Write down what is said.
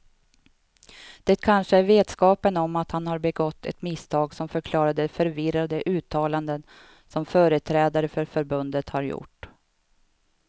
Det kanske är vetskapen om att man har begått ett misstag som förklarar de förvirrade uttalanden som företrädare för förbundet har gjort.